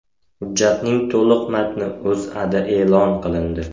Hujjatning to‘liq matni O‘zAda e’lon qilindi .